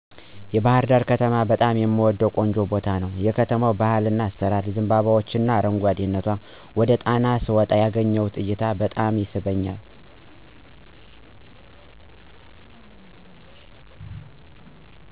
የባህርዳር ከተማ በጣም የምወደው ቆንጆ ቦታ ነው። የከተማው ባህልና አሰራር፣ ዘንባባዎችና አረጓደነቷ፣ ወደ ጣና ስወጣ የማገኘው እይታ በጣም ይስበኛል።